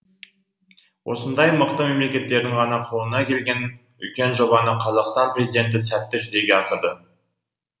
осындай мықты мемлекеттердің ғана қолына келген үлкен жобаны қазақстан президенті сәтті жүзеге асырды